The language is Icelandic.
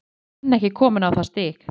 Við erum enn ekki komnir á það stig.